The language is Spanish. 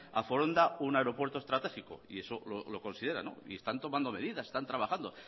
a foronda un aeropuerto estratégico y eso lo consideran y están tomando medidas están trabajando